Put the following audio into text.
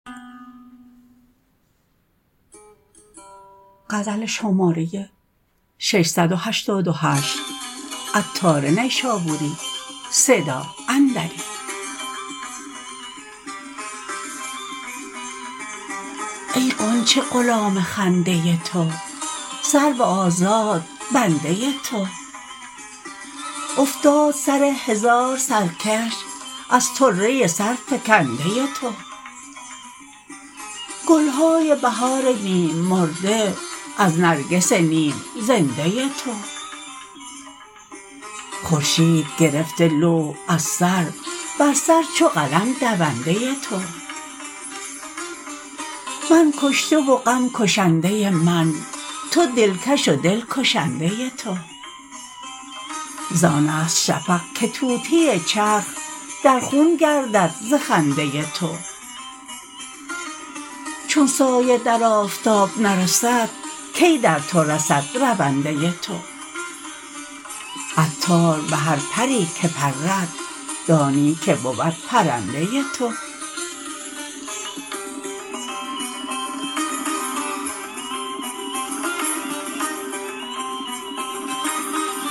ای غنچه غلام خنده تو سرو آزاد بنده تو افتاد سر هزار سرکش از طره سر فکنده تو گلهای بهار نیم مرده از نرگس نیم زنده تو خورشید گرفته لوح از سر بر سر چو قلم دونده تو من کشته و غم کشنده من تو دلکش و دل کشنده تو زان است شفق که طوطی چرخ در خون گردد ز خنده تو چون سایه در آفتاب نرسد کی در تو رسد رونده تو عطار به هر پری که پرد دانی که بود پرنده تو